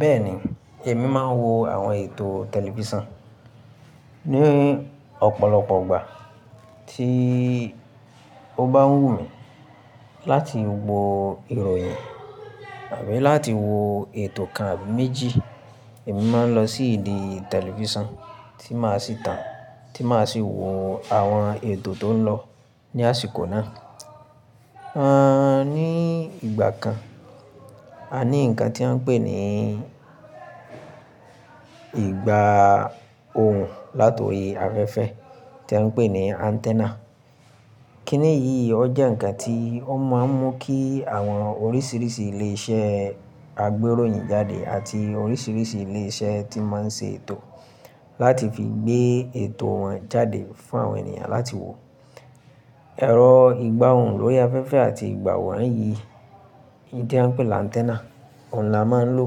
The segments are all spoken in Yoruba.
Bẹ́ẹ̀ni, èmi máa ń wo àwọn ètò tẹlifísàn ní ọ̀pọ̀lọpọ̀ ìgbà tí ó bá wù mí láti wo ìròyìn àbí láti wo ètò kan àbí méjì. Èmi máa ń lọ sí ìdí tẹlifísàn tí màá sì tàn, tí màá sì wo àwọn ètò tó ń lọ ní àsìkò náà. A ní ìgbà kan, a ní nǹkan tí a ń pè ní ìgbà ohùn láti orí afẹ́fẹ́ tí a ń pè ní antenna. Kíni yí, ó jẹ́ ǹkan tí ó máa ń mú kí àwọn oríṣiríṣi ilé iṣẹ́ agbéròyìn jáde àti oríṣiríṣi ilé iṣẹ́ tí máa ń ṣe ètò láti fi gbé ètò wọn jáde fún àwọn ènìyàn láti wò. Ẹ̀rọ ìgbà ohùn lórí afẹ́fẹ́ àti ìgbà wànyí, èyí tí a ń pè ni antenna, òun ni a máa ń lò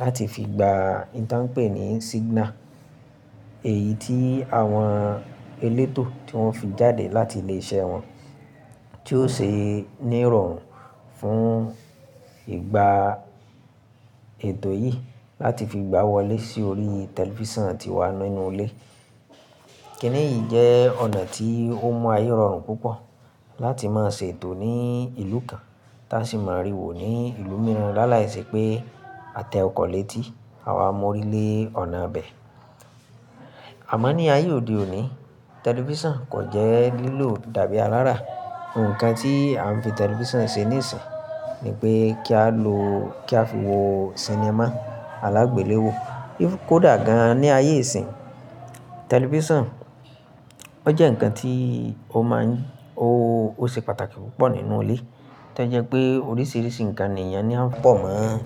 láti fi gba ntàn pé ní signal, èyí tí àwọn elétò tí wọ́n fi jáde láti ilé iṣẹ́ wọn tí ó ṣe ní ìrọ̀rùn fún ìgbà ètò yìí láti fi gbá wọlé sí orí tẹlifísàn tí wà nínú ilé. Kíni yìí jẹ́ ọ̀nà tí ó mọ ayé rọrùn púpọ̀ láti máa ṣe ètò ní ìlú kan tí a sì máa rí wò ní ìlú mìíràn láláìse pé a tẹ ọkọ̀ léétí àwa mú orí lé ọ̀nà bẹ. Àmọ́ ní ayé òde òní, tẹlifísàn kò jẹ́ lílò dàbí alára. Òǹkàn tí à ń fi tẹlifísàn ṣe ní ìsìn ni pé kí a fi wo sinimá alágbéléwo. Bí kò dà gan ní ayé ìsìn, tẹlifísàn ó jẹ́ ǹkan tí ó máa ń-- ó ṣe pàtàkì púpọ̀ nínú ilé tó jẹ́ pé oríṣiríṣi ǹkan nì eyàn ni a ń pọ̀ mọ́,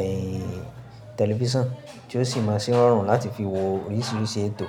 ẹ́yin, tẹlifísàn tí ó sì máa ṣe n rọrùn láti fi wo oríṣiríṣi ètò.